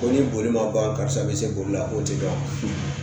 ni bolima ban karisa be se boli la o te dɔn